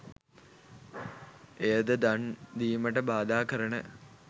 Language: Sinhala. එයද දන් දීමට බාධා කරන